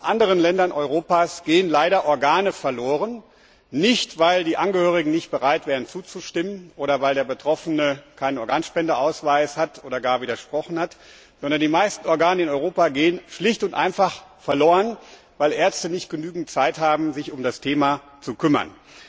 In anderen Ländern Europas gehen leider Organe verloren, nicht weil die Angehörigen nicht bereit wären, zuzustimmen, oder weil der Betroffene keinen Organspendeausweis hat oder gar widersprochen hat, sondern die meisten Organe in Europa gehen schlicht und einfach verloren, weil Ärzte nicht genügend Zeit haben, sich um das Thema zu kümmern.